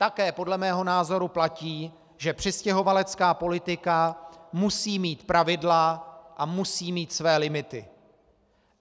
Také podle mého názoru platí, že přistěhovalecká politika musí mít pravidla a musí mít své limity.